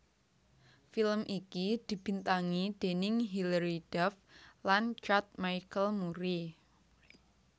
Film iki dibintangi déning Hillary Duff lan Chad Michael Murray